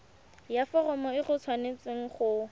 ya foromo e tshwanetse go